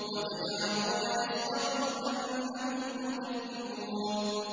وَتَجْعَلُونَ رِزْقَكُمْ أَنَّكُمْ تُكَذِّبُونَ